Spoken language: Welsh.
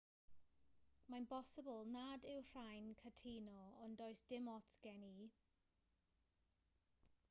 mae'n bosibl nad yw rhai'n cytuno ond does dim ots gen i